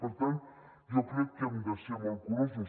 per tant jo crec que hem de ser molt curosos